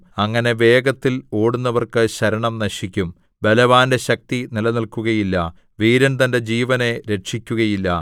അങ്ങനെ വേഗത്തിൽ ഓടുന്നവർക്ക് ശരണം നശിക്കും ബലവാന്റെ ശക്തി നിലനില്‍ക്കുകയില്ല വീരൻ തന്റെ ജീവനെ രക്ഷിക്കുകയില്ല